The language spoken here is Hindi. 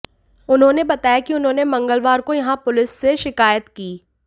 उन्होंने बताया कि उन्होंने मंगलवार को यहां पुलिस से शिकायत की